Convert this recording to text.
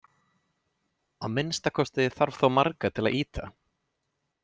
Að minnsta kosti þarf þá marga til að ýta!